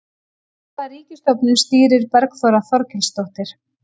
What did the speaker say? Hvaða ríkisstofnun stýrir Bergþóra Þorkelsdóttir?